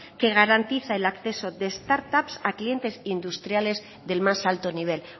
que garantiza el acceso de start up a clientes industriales del más alto nivel